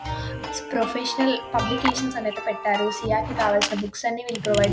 Professional publications అని ఐతే పెట్టారు. సి_ఎ కి కావాల్సిన బుక్స్ అన్ని వీళ్లు ప్రొవైడ్ --